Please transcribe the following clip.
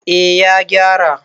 eh ya gyara